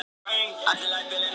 Það var bent á mig.